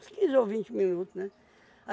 Uns quinze ou vinte minutos, né?